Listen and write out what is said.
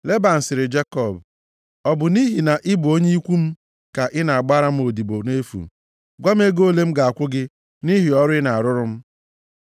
Leban sịrị Jekọb, “Ọ bụ nʼihi na ị bụ onye ikwu m ka ị na-agbara m odibo nʼefu? Gwa m ego ole m ga-akwụ gị nʼihi ọrụ ị na-arụrụ m?”